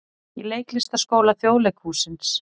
Í Leiklistarskóla Þjóðleikhússins.